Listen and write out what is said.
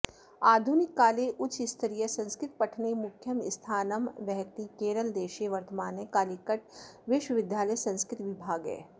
आधुनिककाले उच्चस्तरीयसंस्कृतपठने मुख्यं स्थानमावहति केरलदेशॆ वर्तमानः कालिकट् विश्वविद्यालयसंस्कृतविभागः